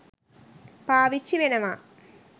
පාවිච්චි වෙනවා.